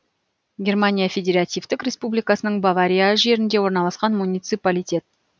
германия федеративтік республикасының бавария жерінде орналасқан муниципалитет